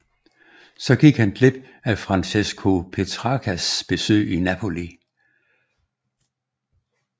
Så han gik glip af Francesco Petrarcas besøg i Napoli